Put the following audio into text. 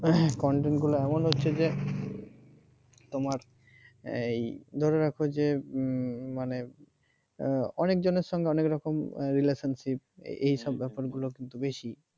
content গুলো এমন হচ্ছে যে তোমার এই ধরে রাখো যে মানে অনেক জনের সঙ্গে অনেক রকম relationship এইসব ব্যাপারগুলো কিন্তু বেশি।